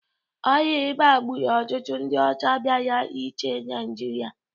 Ọrịa ịba gburu ọtụtụ ndị ọcha bịara ịchị Naijiria